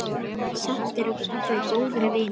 Samt eru þau góðir vinir.